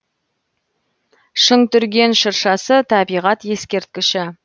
шыңтүрген шыршасы табиғат ескерткіші